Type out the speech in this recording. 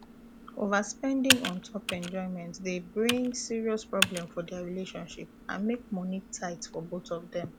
overspending un top enjoyment dey bring serious problem for their relationship and make money tight for both of them